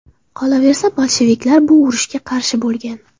Qolaversa, bolsheviklar bu urushga qarshi bo‘lgan.